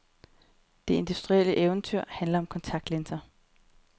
Det industrielle eventyr handler om kontaktlinser.